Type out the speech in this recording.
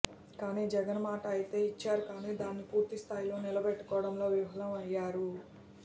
కానీ జగన్ మాట అయితే ఇచ్చారు కానీ దాన్ని పూర్తిస్థాయిలో నిలబెట్టుకోడంలో విఫలం అయ్యారు